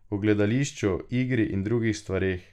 O gledališču, igri in drugih stvareh.